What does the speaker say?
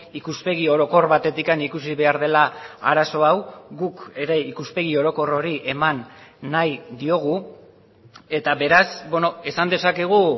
ikuspegi orokor batetik ikusi behar dela arazo hau guk ere ikuspegi orokor hori eman nahi diogu eta beraz esan dezakegu